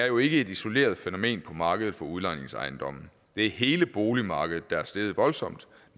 jo ikke et isoleret fænomen på markedet for udlejningsejendomme det er hele boligmarkedet der er steget voldsomt